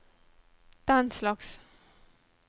denslags